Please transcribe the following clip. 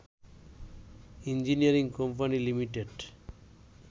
engineering company limited